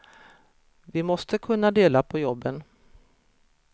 Vi måste kunna dela på jobben.